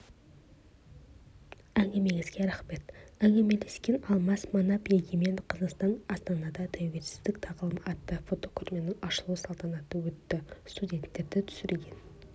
әңгімеңізге рахмет әңгімелескеналмас манап егемен қазақстан астанада тәуелсіздік тағылымы атты фотокөрменің ашылу салтанаты өтті суреттерді түсірген